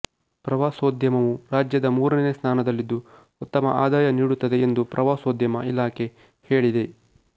ಪ್ರವಾಸೋದ್ಯಮವು ರಾಜ್ಯದ ಮೂರನೆಯ ಸ್ಥಾನದಲ್ಲಿದ್ದು ಉತ್ತಮ ಆದಾಯ ನೀಡುತ್ತದೆಎಂದು ಪ್ರವಾಸೋದ್ಯಮ ಇಲಾಖೆ ಹೇಳಿದೆ